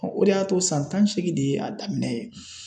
o de y'a to san tan ni seegin de ye a daminɛ ye.